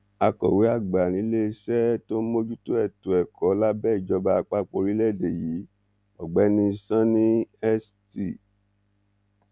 akọ̀wé àgbà níléeṣẹ́ tó ń mójútó ètò ẹ̀kọ́ lábẹ́ ìjọba àpapọ̀ orílẹ̀-èdè yìí ọ̀gbẹ́ni sonny st